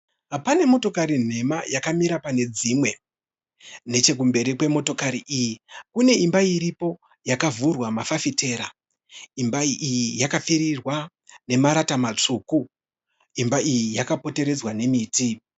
Pane motokari nhema yakamira pane dzimwe. Nechekumberi kwemotokari iyi kune imba iripo yakavhurwa mafafitera. Imba iyi yakapfirirwa nemarata matsvuku. Imba iyi yakapoteredzwa nemiti.